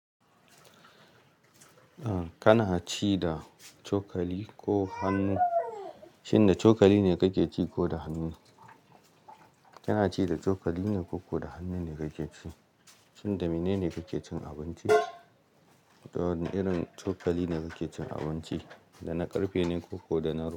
Eh kana ci da cokali ko hannu, shine cokali ne kake ci ko da hannu. Kana ci da cokali ne ko da hannu ne kake ci, shine mene ne kake cin abinci? Wadanne irin cokali kake cin abinci? Da na karfe ne ko da na ruko.